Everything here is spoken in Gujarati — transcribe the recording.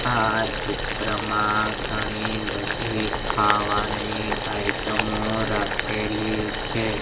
આ ચિત્રમાં ઘણી-બધી ખાવાની આઇટમો રાખેલી છે. "